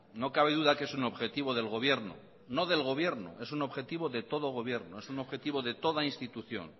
no cabe duda que es un objetivo del gobierno no del gobierno es un objetivo de todo gobierno es un objetivo de toda institución